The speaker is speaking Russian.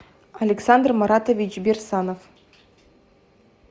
александр маратович берсанов